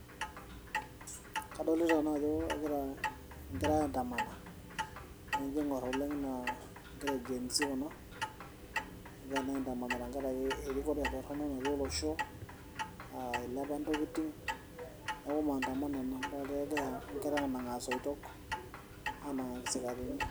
Kadolita naa ajo kegirae aiandamana, keingor oleng naa gen z kuna. Egira naa aindamana tenkaraki erikore torono natii olosho. Eilepa intokiting neaku maandamano ena, idol ajo kegira anang'aa isoitok anang'a ki isikarini.